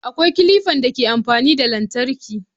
Akwai kilifan da ke amfani da lantarki